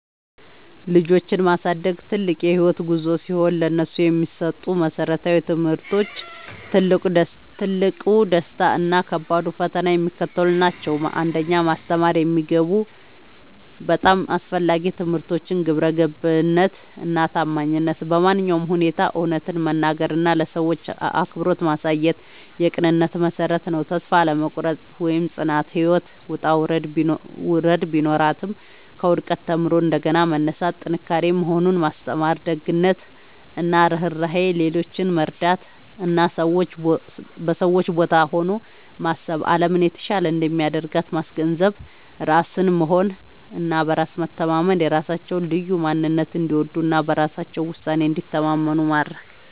ልጆችን ማሳደግ ትልቅ የህይወት ጉዞ ሲሆን፥ ለነሱ የሚሰጡ መሰረታዊ ትምህርቶች፣ ትልቁ ደስታ እና ከባዱ ፈተና የሚከተሉት ናቸው 1. ማስተማር የሚገቡ በጣም አስፈላጊ ትምህርቶች ግብረገብነት እና ታማኝነት በማንኛውም ሁኔታ እውነትን መናገር እና ለሰዎች አክብሮት ማሳየት የቅንነት መሠረት ነው። ተስፋ አለመቁረጥ (ጽናት)፦ ህይወት ውጣ ውረድ ቢኖራትም፣ ከውድቀት ተምሮ እንደገና መነሳት ጥንካሬ መሆኑን ማስተማር። ደግነት እና ርህራሄ፦ ሌሎችን መርዳት እና በሰዎች ቦታ ሆኖ ማሰብ አለምን የተሻለች እንደሚያደርግ ማስገንዘብ። ራስን መሆን እና በራስ መተማመን፦ የራሳቸውን ልዩ ማንነት እንዲወዱ እና በራሳቸው ውሳኔ እንዲተማመኑ ማድረግ።